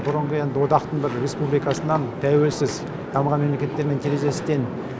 бұрынғы енді одақтың бір республикасынан тәуелсіз дамыған мемлекеттермен терезесі тең